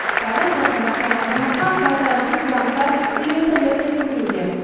тағы қырықтан астам азаматқа қайтарымсыз гранттар үлестіріледі деп күтілуде